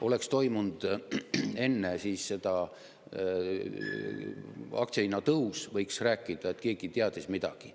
Oleks enne seda toimunud aktsiahinna tõus, siis võiks rääkida sellest, et keegi teadis midagi.